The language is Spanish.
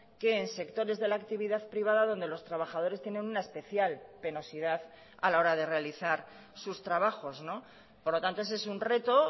que en sectores de la actividad privada donde los trabajadores tienen una especial penosidad a la hora de realizar sus trabajos por lo tanto ese es un reto